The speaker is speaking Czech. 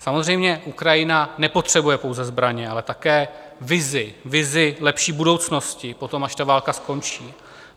Samozřejmě Ukrajina nepotřebuje pouze zbraně, ale také vizi, vizi lepší budoucnosti poté, až ta válka skončí.